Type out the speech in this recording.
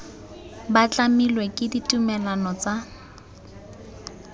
ba tlamilwe ke ditumalano tsa